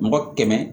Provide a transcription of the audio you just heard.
Mɔgɔ kɛmɛ